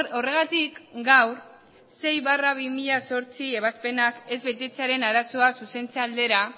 horregatik gaur sei barra bi mila zortzi ebazpenak ez betetzearen arazoa zuzentze aldera